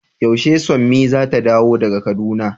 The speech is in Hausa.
Yaushe summi zata dawo daga kaduna?